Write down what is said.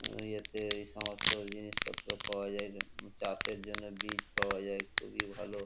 ইয়েতে এই সমস্ত জিনিসপত্র পাওয়া যায় উম চাষের জন্য বীজ পাওয়া যায় খুবই ভালো।